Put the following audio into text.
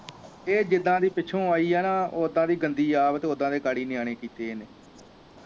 ਇਹ ਜੀਦਾ ਦੀ ਪਿੱਛੋਂ ਆਈ ਆ ਨਾ ਓਦਾਂ ਦੀ ਗੰਦੀ ਆਦਤ ਓਦਾਂ ਦੇ ਨਿਆਣੇ ਕਿਤੇ ਇਹਨੇ